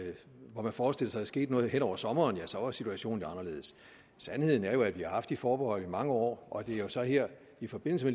hvor man forestillede skete noget hen over sommeren så var situationen anderledes sandheden er jo at vi har haft de forbehold i mange år og at det jo så er her i forbindelse